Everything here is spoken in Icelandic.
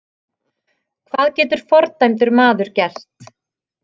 Hvað getur fordæmdur maður gert?